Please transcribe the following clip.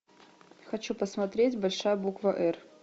хочу посмотреть большая буква р